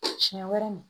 Siɲɛ wɛrɛ ni